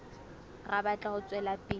re batla ho tswela pele